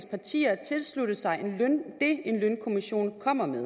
partier tilslutter sig det en lønkommission kommer med